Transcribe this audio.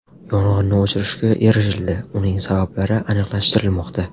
Yong‘inni o‘chirishga erishildi, uning sabablari aniqlashtirilmoqda.